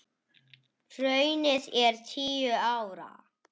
Hrunið er tíu ára.